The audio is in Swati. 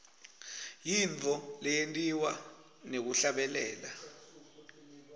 yintfo leyentiwa ngekuhlabelela